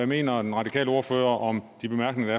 mener den radikale ordfører om de bemærkninger